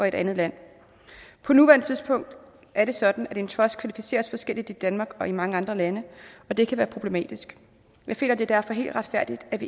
et andet land på nuværende tidspunkt er det sådan at en trust kvalificeres forskelligt i danmark og i mange andre lande og det kan være problematisk vi finder det derfor helt retfærdigt at